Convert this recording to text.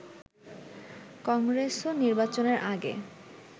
কংগ্রেসও নির্বাচনের আগে